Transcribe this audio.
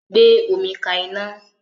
Gbé omi ka iná